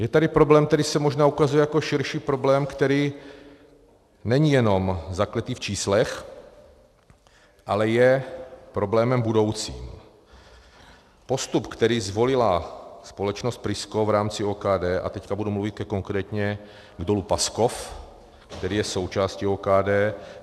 Je tady problém, který se možná ukazuje jako širší problém, který není jenom zakletý v číslech, ale je problémem budoucím, postup, který zvolila společnost Prisco v rámci OKD, a teď budu mluvit konkrétně k Dolu Paskov, který je součástí OKD.